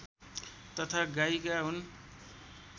तथा गायिका हुन्